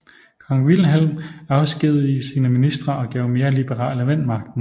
Kong Wilhelm afskedigede sine ministre og gav mere liberale mænd magten